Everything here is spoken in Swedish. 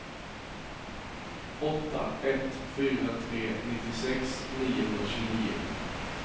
åtta ett fyra tre nittiosex niohundratjugonio